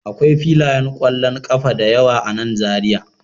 Akwai filayen kwallon kafa da yawa a nan Zariya